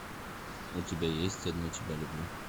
у тебя есть одну тебя люблю